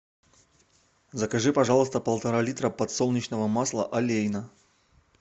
закажи пожалуйста полтора литра подсолнечного масла олейна